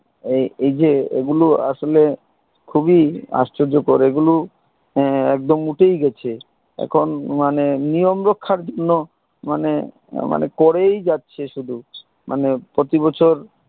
আহ এই যে এ গুলো আসলে খুবই আশ্চর্যকর এগুলো আহ একদম উঠেই গেছে এখন মানে নিয়ম রক্ষার জন্য মানে মানে করেই যাচ্ছে শুধু মানে প্রতিবছর